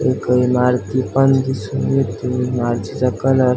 एक इमारती पण दिसून येते इमारतीचा कलर --